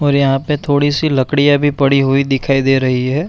और यहाँ पे थोड़ी सी लकड़ियाँ भी पड़ी हुई दिखाई दे रही है।